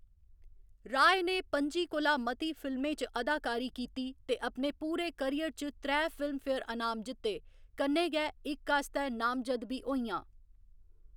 राय ने पं'जी कोला मती फिल्में च अदाकारी कीती, ते अपने पूरे करियर च त्रै फिल्मफेयर अनाम जित्ते, कन्नै गै इक आस्तै नामजद्द बी होइयां।